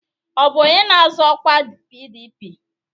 Ọ bụ onye na-azọ ọkwa PDP?